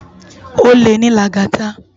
Ólé ni Lagata